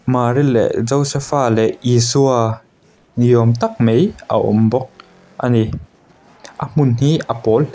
mari leh josepha leh isua ni awm tak mai a awm bawk ani a hmun hi a pawl--